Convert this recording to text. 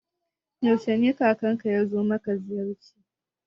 Yaushe ne kakanka yazo ma ziyarci?